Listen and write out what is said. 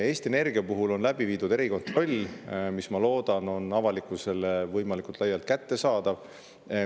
Eesti Energia puhul on läbi viidud erikontroll, mis, ma loodan, on avalikkusele võimalikult laialt kättesaadav.